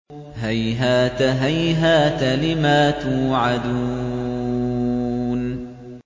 ۞ هَيْهَاتَ هَيْهَاتَ لِمَا تُوعَدُونَ